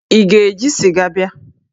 Ị ga-eji sịga bịa?